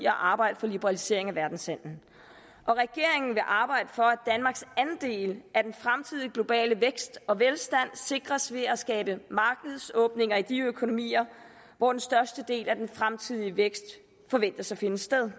at arbejde for liberalisering af verdenshandelen og regeringen vil arbejde for at danmarks andel af den fremtidige globale vækst og velstand sikres ved at skabe markedsåbninger i de økonomier hvor den største del af den fremtidige vækst forventes finde sted